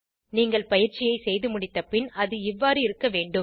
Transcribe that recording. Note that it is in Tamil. நீங்கள் பயிற்சியை செய்துமுடித்தப்பின் அது இவ்வாறு இருக்க வேண்டும்